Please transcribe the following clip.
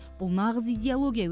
бұл нағыз идеология